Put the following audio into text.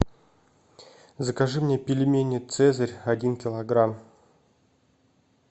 закажи мне пельмени цезарь один килограмм